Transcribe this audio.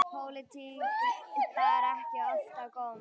Pólitík bar ekki oft á góma.